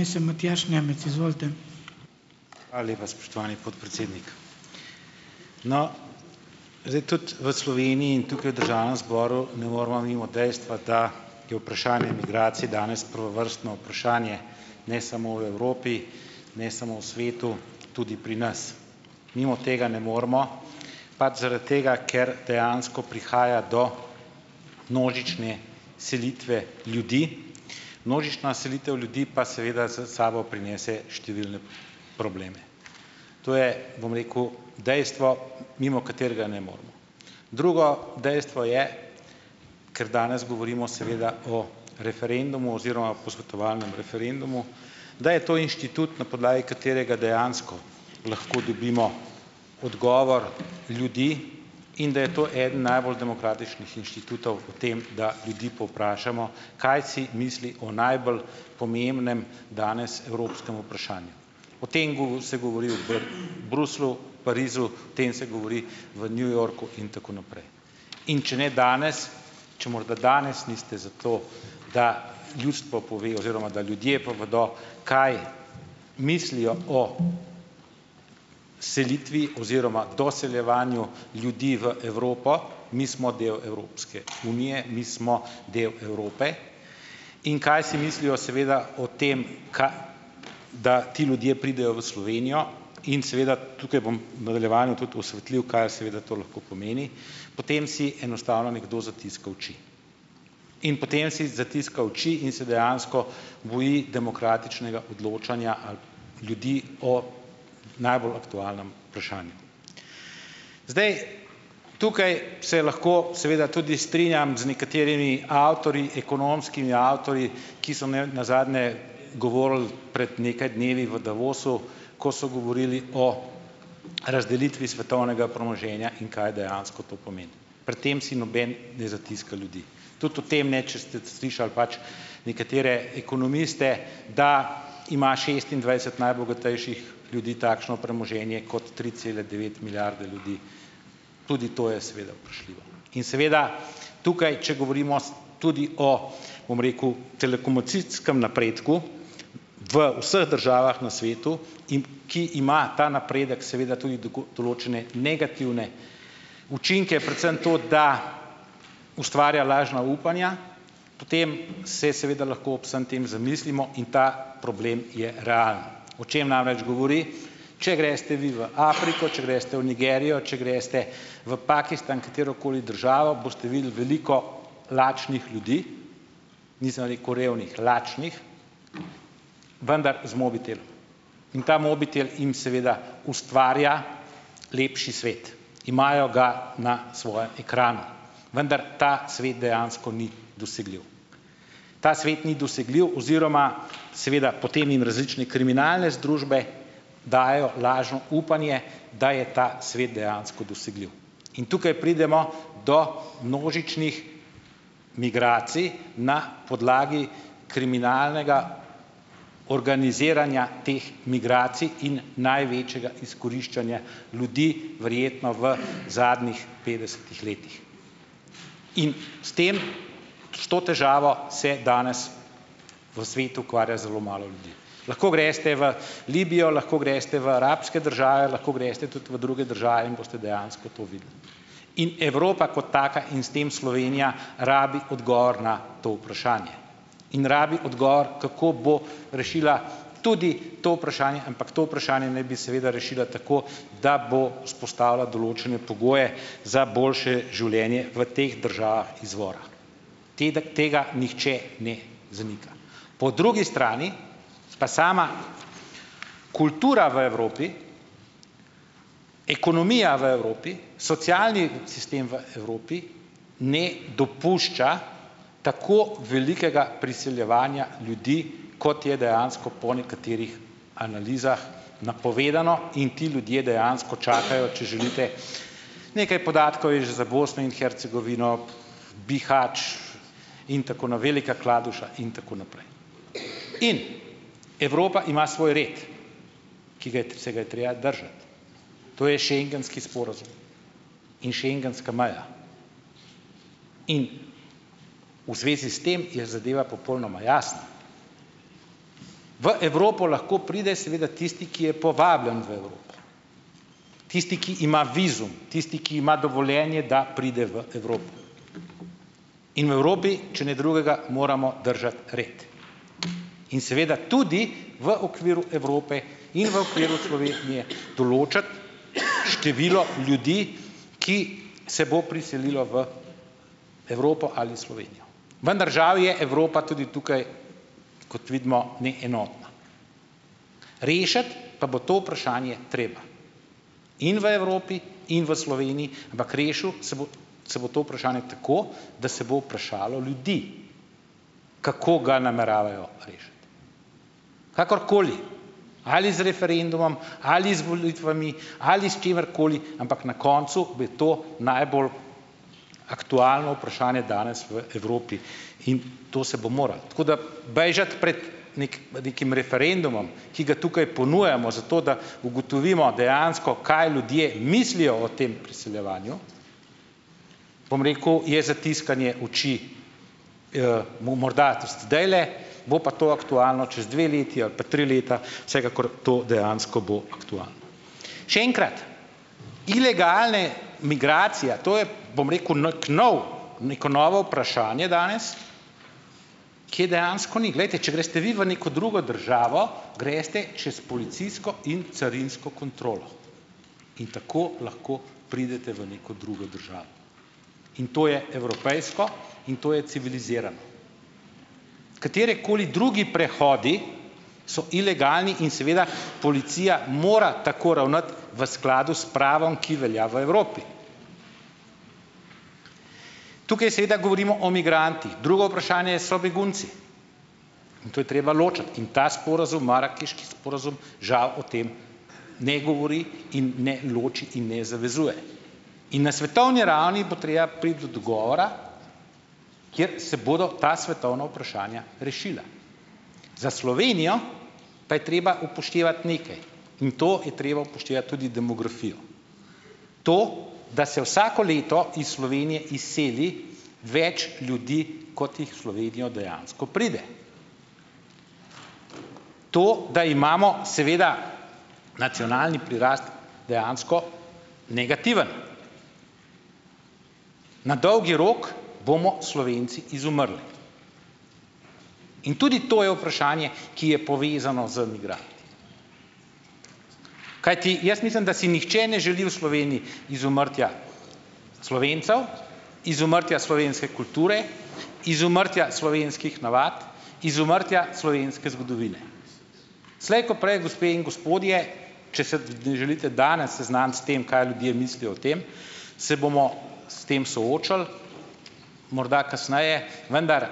Hvala lepa, spoštovani podpredsednik. No, zdaj tudi v Sloveniji in tukaj v državnem zboru ne moremo mimo dejstva, da je vprašanje migracij danes prvovrstno vprašanje, ne samo v Evropi, ne samo v svetu, tudi pri nas. Mimo tega ne moremo, pač zaradi tega, ker dejansko prihaja do množične selitve ljudi. Množična selitev ljudi pa seveda za sabo prinese številne probleme. To je, bom rekel, dejstvo, mimo katerega ne moremo. Drugo dejstvo je, ker danes govorimo seveda o referendumu oziroma posvetovalnem referendumu, da je to inštitut, na podlagi katerega dejansko lahko dobimo odgovor ljudi, in da je to eden najbolj demokratičnih inštitutov o tem, da ljudi povprašamo, kaj si misli o najbolj pomembnem danes evropskem vprašanju. O tem se govori v Bruslju, Parizu, o tem se govori v New Yorku in tako naprej. In če ne danes, če morda danes niste za to, da ljudstvo pove oziroma, da ljudje povedo, kaj mislijo o selitvi oziroma doseljevanju ljudi v Evropo - mi smo del Evropske unije, mi smo del Evrope, in kaj si mislijo seveda o tem, da ti ljudje pridejo v Slovenijo, in seveda tukaj bom v nadaljevanju tudi osvetlil, kaj seveda to lahko pomeni, potem si enostavno nekdo zatiska oči. In potem si zatiska oči in se dejansko boji demokratičnega odločanja ljudi o najbolj aktualnem vprašanju. Zdaj, tukaj se lahko seveda tudi strinjam z nekaterimi avtorji, ekonomskimi avtorji, ki so imeli nazadnje govorili pred nekaj dnevi v Davosu, ko so govorili o razdelitvi svetovnega premoženja in kaj dejansko to pomeni. Pred tem si noben ne zatiska ljudi, tudi v tem ne, če ste slišali, pač, nekatere ekonomiste, da ima šestindvajset najbogatejših ljudi takšno premoženje, kot tri cele devet milijarde ljudi, tudi to je seveda vprašljivo. In seveda tukaj, če govorimo tudi o, bom rekel, telekomunikacijskem napredku v vseh državah na svetu, in ki ima ta napredek seveda tudi določene negativne učinke, predvsem to, da ustvarja lažna upanja, potem se seveda lahko ob vsem tem zamislimo in ta problem je realen. O čem namreč govori? Če greste vi v Afriko, če greste v Nigerijo, če greste v Pakistan - katerokoli državo, boste videli veliko lačnih ljudi, nisem rekel revnih, lačnih, vendar z mobitelom. In ta mobitel im seveda ustvarja lepši svet, imajo ga na svojem ekranu, vendar ta svet dejansko ni dosegljiv. Ta svet ni dosegljiv oziroma seveda potem jim različne kriminalne združbe dajejo lažno upanje, da je ta svet dejansko dosegljiv in tukaj pridemo do množičnih migracij na podlagi kriminalnega organiziranja teh migracij in največjega izkoriščanja ljudi, verjetno v zadnjih petdesetih letih. In s tem, s to težavo se danes v svetu ukvarja zelo malo ljudi. Lahko greste v Libijo, lahko greste v arabske države, lahko greste tudi v druge države in boste dejansko to videli, in Evropa kot taka in s tem Slovenija rabi odgovor na to vprašanje in rabi odgovor, kako bo rešila tudi to vprašanje, ampak to vprašanje naj bi seveda rešila tako, da bo vzpostavila določene pogoje za boljše življenje v teh državah izvora. tega nihče ne zanika. Po drugi strani, pa sama kultura v Evropi, ekonomija v Evropi, socialni sistem v Evropi, ne dopušča tako velikega priseljevanja ljudi, kot je dejansko po nekaterih analizah napovedano, in ti ljudje dejansko čakajo, če želite, nekaj podatkov je že za Bosno in Hercegovino, Bihać. In tako Velika Kladuša in tako naprej. In Evropa ima svoj red, ki ga se ga je treba držati, to je schengenski sporazum in schengenska meja in v zvezi s tem je zadeva popolnoma jasna. V Evropo lahko pride seveda tisti, ki je povabljen v Evropo, tisti, ki ima vizum, tisti, ki ima dovoljenje, da pride v Evropo. In v Evropi, če ne drugega, moramo držati red. In seveda tudi v okviru Evrope in v okviru Slovenije določati število ljudi, ki se bo priselilo v Evropo ali Slovenijo. Vendar žal je Evropa tudi tukaj, kot vidimo, neenotna. Rešiti pa bo to vprašanje treba in v Evropi in v Sloveniji, ampak rešilo se bo, se bo to vprašanje tako, da se bo vprašalo ljudi, kako ga nameravajo rešiti, kakorkoli, ali z referendumom ali z volitvami ali s čimer koli, ampak na koncu bi to najbolj aktualno vprašanje danes v Evropi in to se bo moralo. Tako da, bežati pred nekim referendumom, ki ga tukaj ponujamo zato, da ugotovimo, dejansko kaj ljudje mislijo o tem priseljevanju, bom rekel, je zatiskanje oči, morda zdajle, bo pa to aktualno čez dve leti ali pa tri leta, vsekakor to dejansko bo aktualno. Še enkrat, ilegalne migracija, to je, bom rekel, nekako nov, neko novo vprašanje danes, kje dejansko ni. Glejte, če greste vi v neko drugo državo, greste čez policijsko in carinsko kontrolo in tako lahko pridete v neko drugo državo. In to je evropejsko in to je civilizirano. Katerikoli drugi prehodi so ilegalni in seveda policija mora tako ravnati v skladu s pravom, ki velja v Evropi. Tukaj seveda govorimo o migrantih. Drugo vprašanje so begunci. In to je treba ločiti. In ta sporazum, marakeški sporazum, žal, o tem ne govori in ne loči in ne zavezuje. In na svetovni ravni bo treba priti do dogovora, kjer se bodo ta svetovna vprašanja rešila. Za Slovenijo pa je treba upoštevati nekaj in to je treba upoštevati tudi demografijo. To, da se vsako leto iz Slovenije izseli več ljudi, kot jih v Slovenijo dejansko pride. To, da imamo seveda nacionalni prirastek, dejansko negativen. Na dolgi rok bomo Slovenci izumrli. In tudi to je vprašanje, ki je povezano z ... Kajti jaz mislim, da si nihče ne želi v Sloveniji izumrtja Slovencev, izumrtja slovenske kulture, izumrtja slovenskih navad, izumrtja slovenske zgodovine. Slej ko prej, gospe in gospodje, če se želite danes seznaniti s tem, kaj ljudje mislijo o tem, se bomo s tem soočili morda kasneje. Vendar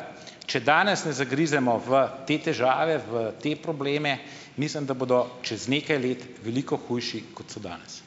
če danes ne zagrizemo v te težave, v te probleme, mislim, da bodo čez nekaj let veliko hujše, ko so danes.